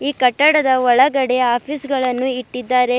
ಕಟ್ಟಡದ ಒಳಗಡೆ ಆಫೀಸ್ ಗಳನ್ನು ಇಟ್ಟಿದ್ದಾರೆ.